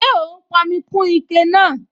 Ṣé ó n pọnmi kún ike náà?